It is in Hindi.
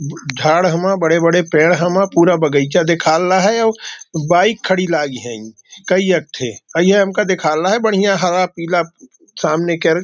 झाड़ हमा बड़े बड़े पेड़ हमा पूरा बगीचा दिखाल ला है ओं बाइक खड़ी लागी है कई अट्टे कईयाँ हमें दिखाला बढियाँ हरा पीला सामने कर।